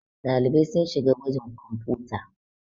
ɗalibai sun shiga gwajin kwamfuta